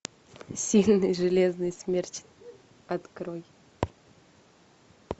сильный железный смерч открой